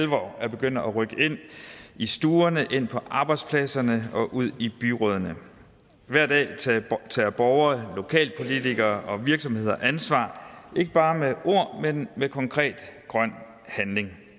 alvor er begyndt at rykke ind i stuerne ind på arbejdspladserne og ud i byrådene hver dag tager borgere lokalpolitikere og virksomheder ansvar ikke bare med ord men med konkret grøn handling